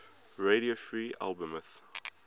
radio free albemuth